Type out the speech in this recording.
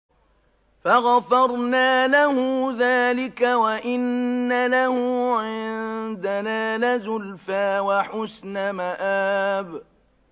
فَغَفَرْنَا لَهُ ذَٰلِكَ ۖ وَإِنَّ لَهُ عِندَنَا لَزُلْفَىٰ وَحُسْنَ مَآبٍ